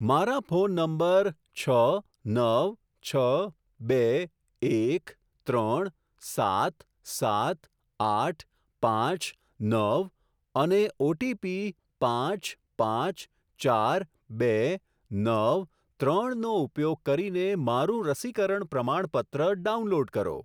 મારા phone number છ નવ છ બે એક ત્રણ સાત સાત આઠ પાંચ નવ અને ઓટીપી પાંચ પાંચ ચાર બે નવ ત્રણનો ઉપયોગ કરીને મારું રસીકરણ પ્રમાણપત્ર ડાઉનલોડ કરો.